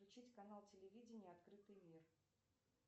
включить канал телевидения открытый мир